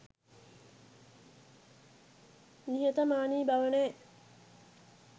නිහතමානී බව නැ